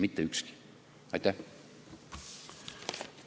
Mitte ükski!